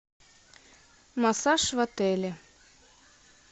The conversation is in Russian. массаж в отеле